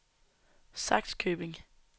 Sakskøbing